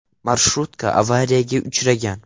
Marshrutka avariyaga uchragan.